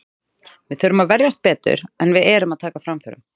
Við þurfum að verjast betur, en við erum að taka framförum.